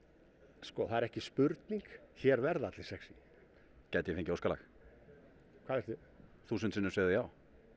sko það er ekki spurning hér verða allir sexý gæti ég fengið óskalag hvað viltu þúsund sinnum segðu já